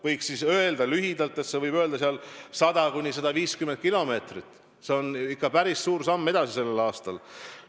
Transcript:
Võiks öelda lühidalt, et 100–150 kilomeetrit on ikka päris suur samm edasi sellel aastal.